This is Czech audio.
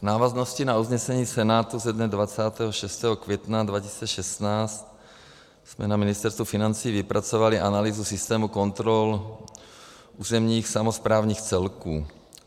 V návaznosti na usnesení Senátu ze dne 26. května 2016 jsme na Ministerstvu financí vypracovali analýzu systému kontrol územních samosprávních celků.